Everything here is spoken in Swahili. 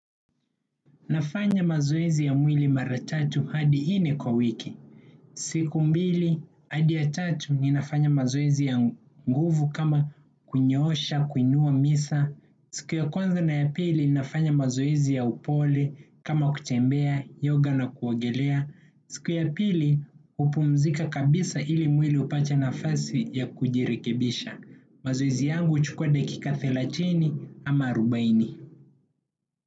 Nafanya mazoezi ya mwili mara tatu hadi nne kwa wiki. Siku mbili hadi ya tatu ninafanya mazoezi ya nguvu kama kunyoosha, kuinua misa. Siku ya kwanza na ya pili ninafanya mazoezi ya upole kama kutembea, yoga na kuogelea. Siku ya pili hupumzika kabisa ili mwili upate nafasi ya kujirikebisha. Mazoezi yangu huchukua dakika thelathini ama arubaini.